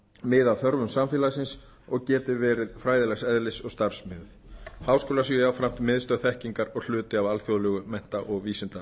mið af þörfum samfélagsins og geti verið fræðilegs eðlis og starfsmiðuð háskólar séu jafnframt miðstöð þekkingar og hluti af alþjóðlegu mennta og